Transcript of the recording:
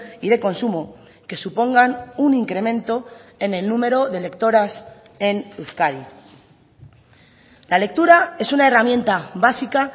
y de consumo que supongan un incremento en el número de lectoras en euskadi la lectura es una herramienta básica